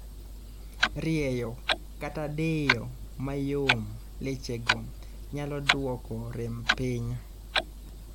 Rieyo kata diyo mayom lechego myalo duoko rem piny